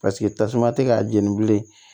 Paseke tasuma tɛ k'a jeni bilen